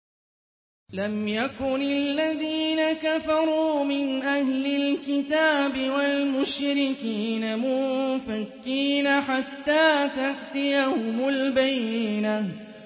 لَمْ يَكُنِ الَّذِينَ كَفَرُوا مِنْ أَهْلِ الْكِتَابِ وَالْمُشْرِكِينَ مُنفَكِّينَ حَتَّىٰ تَأْتِيَهُمُ الْبَيِّنَةُ